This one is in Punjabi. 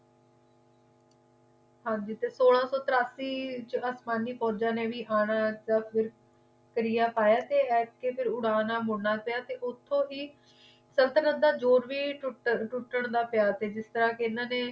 ਹਾਂਜੀ ਸੋਲਾਂ ਸੋ ਤਰਿਆਸੀ ਵਿੱਚ ਅਫ਼ਗਾਨੀ ਫੋਜਾ ਨੇ ਵੀ ਆਣਾ ਯਾ ਫਿਰ ਕਿਰਿਆ ਪਿਆ ਤੇ ਉਡਾਰ ਨਾਲ ਮੁੜਨਾ ਪਿਆ ਤੇ ਉਤੋਂ ਹੀ ਸੰਤਤਲਣ ਦਾ ਜ਼ੋਰ ਵੀ ਟੁੱਟਣ ਦਾ ਪਿਆ ਜਿਸ ਤਰਾਂ ਕਿ ਏਨਾ ਨੇ